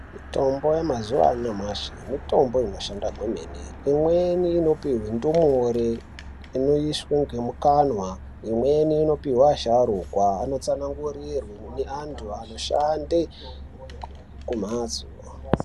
Mitombo yemazuwa anyamashi mitombo inoshanda kwemene. Imweni inopuwe ndumure inoiswe ngemukanwa. Imweni inopiwe asharukwa inotsanangurirwa neantu anoshande kumhatso...